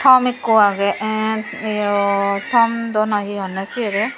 tom ikko agey en eyo tom dw noi he honne sibere.